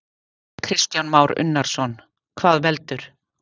Kristján Már Unnarsson: Hvað veldur?